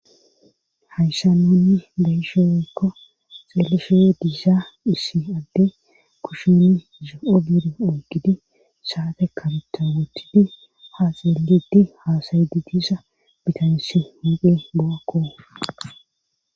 hayssa nunni beyshe wekko xeelefe diisa issi adde kushuni zo7o bide oy gidi saate kabutta wottidi haaxeellidi haasayydi diisa bitanssi huqe bo7akko